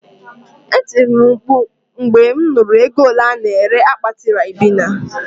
Etiri m mkpu mgbe mụ nụrụ ego ole a-na ere akpati Ribena